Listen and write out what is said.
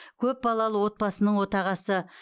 көпбалалы отбасының отағасы